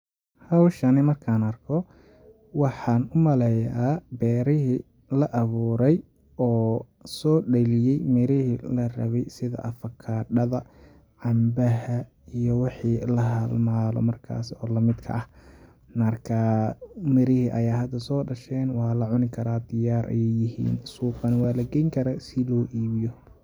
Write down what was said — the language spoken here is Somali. Hawshani markan arko waxan umaleya berihi la abuurey oo sodhaliye mirihi la rabay sidi afakaada, cambaha iyo wixi la halmaalo markaasi oo lamidka ah. markaa mirihi ayaa hada soo dhashen waa lacuni karaa diyaar ayay yihiin suuqa nah waa lageeni karaa si loo ibiyo.